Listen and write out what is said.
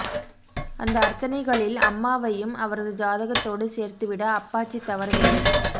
அந்த அர்ச்சனைகளில் அம்மாவையும் அவரது ஜாதகத்தோடு சேர்த்துவிட அப்பாச்சி தவறவில்லை